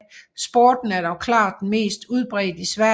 Sporten er dog klart mest udbredt i Sverige